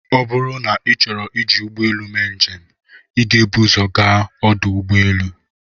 Ọ bụrụ na ịchọọ iji ụgbọelụ mee njem, ị ga-ebu ụzọ gaa ọdụ ụgbọelụ.